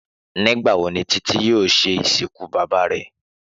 Nígbà wo ni Títí yóò se ìsìnkú bàbá re?